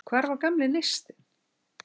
Hvar var gamli neistinn?